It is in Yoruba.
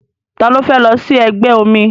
Ta ló fẹ́ lọ sí ẹgbẹ́ omi?